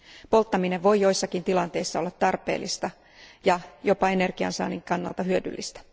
Polttaminen voi joissakin tilanteissa olla tarpeellista ja jopa energiansaannin kannalta hyödyllistä.